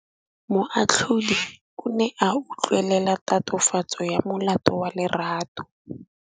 Moatlhodi o ne a utlwelela tatofatsô ya molato wa Lerato.